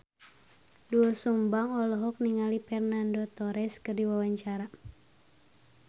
Doel Sumbang olohok ningali Fernando Torres keur diwawancara